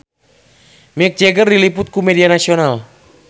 Mick Jagger diliput ku media nasional